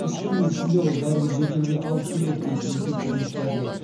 үш күннің ішінде ол бәрібір жөтелге алып келеді дейді инфекционист дәрігер